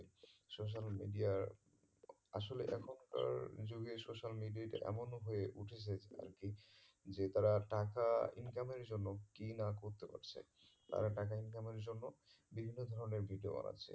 social media র আসলে এখনকার যুগে social media তে এমন হয়ে উঠেছে আর কি যে তারা টাকা income এর জন্য কি না করতে হচ্ছে, তারা টাকা income এর জন্য বিভিন্ন ধরণের video বানাচ্ছে